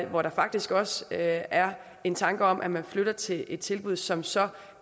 hvor der faktisk også er en tanke om at man flytter vedkommende til et tilbud som så